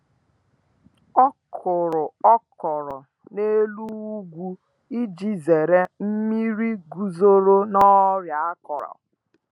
Ọ kuru okro na’elu ugwu iji zere nmiri guzoro na ọrịa akọrọ.